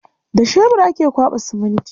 Da shebur ake kwaɓa siminti.